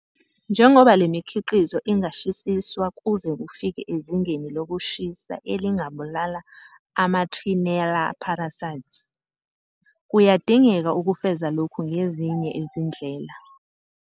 Njengoba le mikhiqizo ingashisiswa kuze kufike ezingeni lokushisa elingabulala ama-trichinella parasites, kuyadingeka ukufeza lokhu ngezinye izindlela.